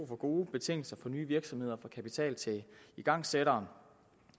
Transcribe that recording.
for gode betingelser for nye virksomheder og for kapital til igangsættere